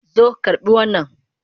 Zo karɓi wannan!